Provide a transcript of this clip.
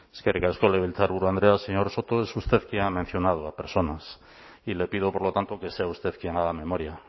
eskerrik asko legebiltzarburu andrea señor soto es usted quien ha mencionado a personas y le pido por lo tanto que sea usted quien haga memoria